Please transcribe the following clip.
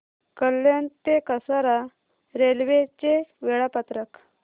कल्याण ते कसारा रेल्वे चे वेळापत्रक